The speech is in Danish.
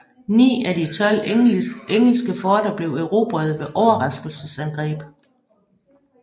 Ni af de tolv engelske forter blev erobrede ved overraskelsesangreb